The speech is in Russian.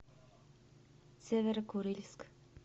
северо курильск